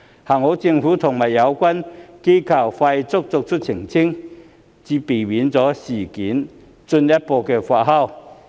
幸好政府和相關機構從速作出澄清，才避免此事進一步發酵。